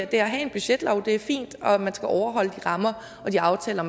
det at have en budgetlov det er fint og at man skal overholde de rammer og de aftaler